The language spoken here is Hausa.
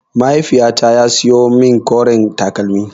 Mahaiifyata ya siyo min koren takalmi.